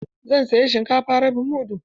Zan saya shinkafa rabin mudu.